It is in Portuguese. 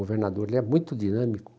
O governador, ele é muito dinâmico.